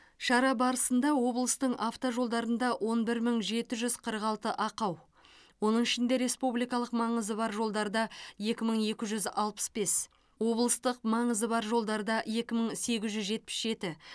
шара барысында облыстың автожолдарында он бір мың жеті жүз қырық алты ақау оның ішінде республикалық маңызы бар жолдарда екі мың екі жүз алпыс бес облыстық маңызы бар жолдарда екі мың сегіз жүз жетпіс жеті